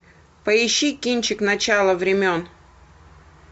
поищи кинчик начало времен